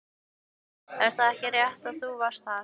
Er það ekki rétt að þú varst þar?